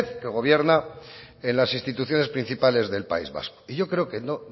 que gobierna en las instituciones principales del país vasco y yo creo que